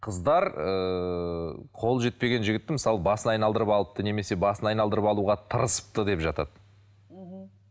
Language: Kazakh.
қыздар ыыы қолы жетпеген жігіттің мысалы басын айналдырып алыпты немесе басын айналдырып алуға тырысыпты деп жатады мхм